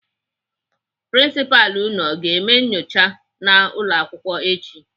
Prinsipalụ unu aga eme nnyocha n'ụlọakwụkwọ echi?